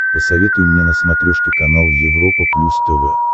посоветуй мне на смотрешке канал европа плюс тв